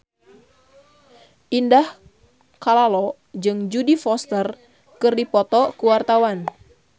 Indah Kalalo jeung Jodie Foster keur dipoto ku wartawan